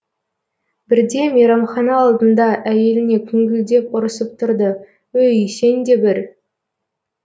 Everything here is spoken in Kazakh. бірде мейрамхана алдында әйеліне күңкілдеп ұрысып тұрды өй сен де бір